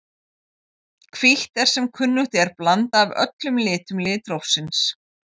Hvítt er sem kunnugt er blanda af öllum litum litrófsins.